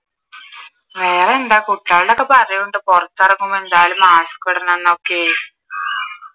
വേറെന്താ കുട്ടികളോടൊക്കെ പറയൊണ്ട് പുറത്തിറങ്ങുമ്പോ എന്തായാലും mask ഇടണം എന്നൊക്കെയേ